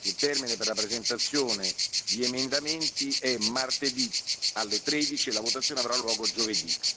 Il termine per la presentazione di emendamenti è martedì alle 13 e la votazione avrà luogo giovedì.